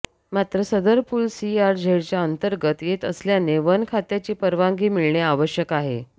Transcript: मात्र सदर पूल सीआरझेडच्या अंतर्गत येत असल्याने वन खात्याची परवानगी मिळणे आवश्यक आहे